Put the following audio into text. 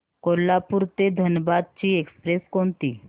कोल्हापूर ते धनबाद ची एक्स्प्रेस कोणती